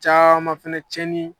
Caaman fɛnɛ cɛni